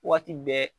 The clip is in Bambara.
Waati bɛɛ